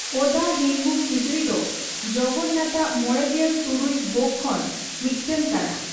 ᱚᱫᱟ ᱦᱮᱝᱜᱩ ᱠᱷᱤᱪᱲᱤ ᱫᱚ ᱡᱚᱜᱚᱱᱱᱟᱛᱷᱻᱟᱜ ᱢᱚᱲᱮᱜᱮᱞ ᱛᱩᱨᱩᱭ ᱵᱷᱳᱜᱽ ᱠᱷᱚᱱ ᱢᱤᱫᱴᱟᱝ ᱠᱟᱱᱟ ᱾